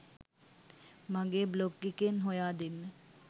මගේ බ්ලොග් එකෙන් හොයා දෙන්න.